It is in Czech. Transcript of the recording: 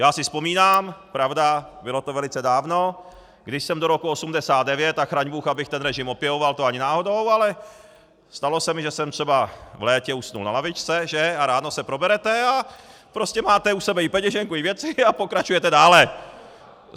Já si vzpomínám, pravda, bylo to velice dávno, když jsem do roku 1989 - a chraň bůh, abych ten režim opěvoval, to ani náhodou, ale stalo se mi, že jsem třeba v létě usnul na lavičce, že, a ráno se proberete a prostě máte u sebe i peněženku i věci a pokračujete dále.